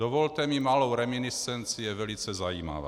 Dovolte mi malou reminiscenci, je velice zajímavá.